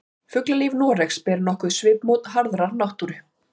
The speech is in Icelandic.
Fuglalíf Noregs ber nokkuð svipmót harðrar náttúru.